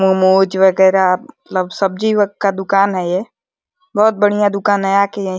मोमोज वगैरा मतलब सब्जी व का दुकान है ये। बहोत बढ़िया दुकान है। आ के --